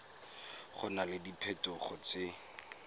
go na le diphetogo tse